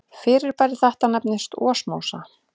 Fyrirbæri þetta nefnist osmósa.